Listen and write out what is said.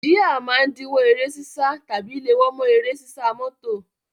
Jíà máa ń díwó eré sísá tàbí léwó mọ́ eré sísá mọ́tò.